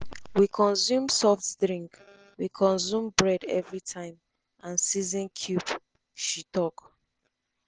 we consume soft drink we consume bread everi time and season cube” she tok.